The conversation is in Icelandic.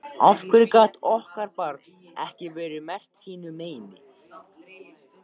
Af hverju gat okkar barn ekki verið merkt sínu meini?